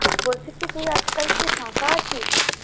বলছি কি তুই আজকাল কি ফাঁকা আছিস